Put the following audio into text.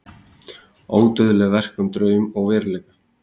Ódauðlegt verk um draum og veruleika